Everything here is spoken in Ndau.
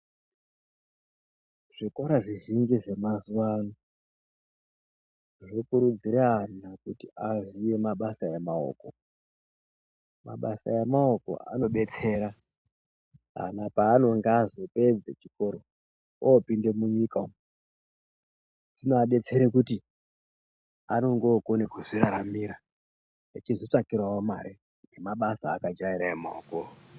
Zvikora zvizhinji zvemazuva ano zvokurudzire ana kuti vaziye mabasa emaoko. Mabasa emaoko anobetsera ana pavanenge vazopedza chikora, opinde munyika umu. Zvinoabetsere kuti anenge okone kuzviraramira echizvitsvakirawo mare nemabasa aakajaira emaokowo.